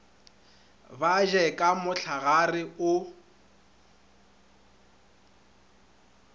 ba je ka mohlagare o